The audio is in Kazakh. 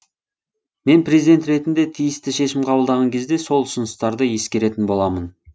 мен президент ретінде тиісті шешім қабылдаған кезде сол ұсыныстарды ескеретін боламын